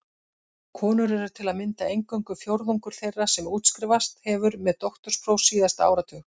Konur eru til að mynda eingöngu fjórðungur þeirra sem útskrifast hefur með doktorspróf síðasta áratug.